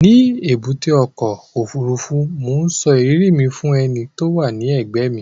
Ní èbúté ọkọ̀-òfurufú, mò ń sọ ìrírí mi fún ẹni tó wà ní ẹ̀gbẹ́ mi